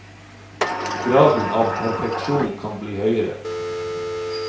Graden av perfeksjon kan bli høyere.